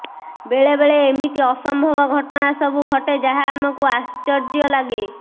ବେଳେବେଳେ ଏମିତି ଅସମ୍ଭବ ଘଟଣା ସବୁ ଘଟେ ଯାହା ଆମକୁ ଆଶ୍ଚର୍ଯ୍ୟ ଲାଗେ